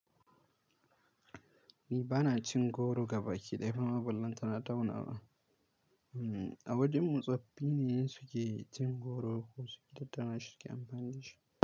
Ni ba na cin goro gaba ki ɗaya ma ballantana taunawa ba. A wajenmu tsoffi ne suke cin goro ko suke tattana shi, suke amfanin shi.